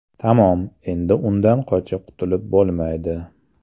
Tamom, endi undan qochib qutilib bo‘lmaydi.